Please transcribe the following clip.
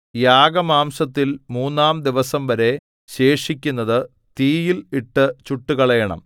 യാഗമാംസത്തിൽ മൂന്നാം ദിവസംവരെ ശേഷിക്കുന്നതു തീയിൽ ഇട്ടു ചുട്ടുകളയണം